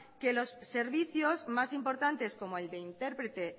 que los servicios más importantes como el de interprete